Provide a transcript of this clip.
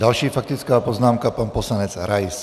Další faktická poznámka pan poslanec Rais.